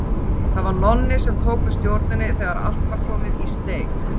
Það var Nonni sem tók við stjórninni þegar allt var komið í steik.